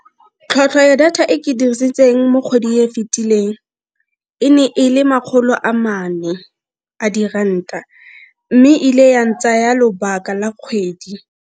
Tlhwatlhwa ya data e ke dirisitseng mo kgwedi e fitileng e ne e le makgolo a mane a diranta, mme ile yang tsaya lobaka la kgwedi.